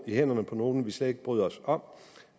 hænderne på nogen vi slet ikke bryder os om